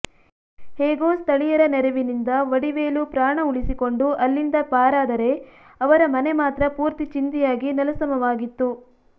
ಹೇಗೋ ಸ್ಥಳೀಯರ ನೆರವಿನಿಂದ ವಡಿವೇಲು ಪ್ರಾಣ ಉಳಿಸಿಕೊಂಡು ಅಲ್ಲಿಂದ ಪಾರಾದರೆ ಅವರ ಮನೆ ಮಾತ್ರ ಪೂರ್ತಿ ಚಿಂದಿಯಾಗಿ ನೆಲಸಮವಾಗಿತ್ತು